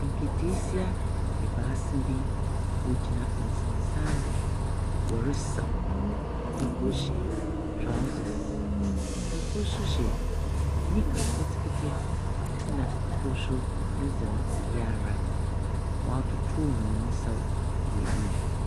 Nketeesia ebaasa bi wogyina nsensan do. Wɔresaw. Kor hyɛ trousers, kor nso hyɛ nika ketekete, na kor nso ne dze no oye ara. Wɔretotow hɔn nsaw wɔ wim.